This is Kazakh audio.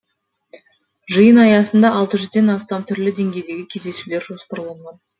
жиын аясында алты жүздден астам түрлі деңгейдегі кездесулер жоспарланған